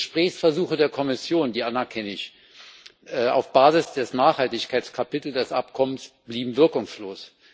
Gesprächsversuche der Kommission die ich anerkenne auf der Basis des Nachhaltigkeitskapitels des Abkommens blieben wirkungslos.